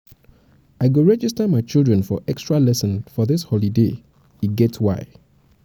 i go register my children for extra-lesson for dis dis holiday e um get why.